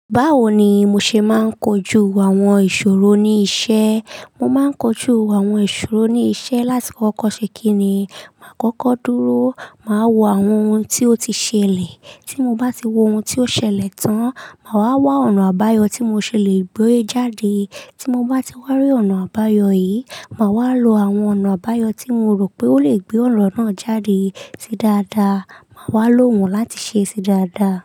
Báwo ni mo ṣe máa ń kojú àwọn ìṣòro ní iṣẹ́? Mo máa ń kojú àwọn ìṣòro ní iṣẹ́ láti kọkọ̀ ṣe kíni, máa kọ́kọ́ dúró, màá wo àwọn ohun tí ó ti ṣẹlẹ̀. Tí mo bá ti wo ohun tí ó ṣẹlẹ̀ tán, màá wá wá ọ̀nà àbáyọ̀ tí mo ṣe lè gbé e jáde. Tí mo bá ti wárí ọ̀nà àbáyọ̀ yìí, màá wá lo àwọn ọ̀nà àbáyọ̀ tí mo rò pé ó lè gbé ọ̀nà náà jáde ti dáadáa. Màá wá lo wọn láti ṣé sí dáadáa.